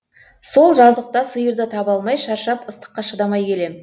сол жазықта сиырды таба алмай шаршап ыстыққа шыдамай келем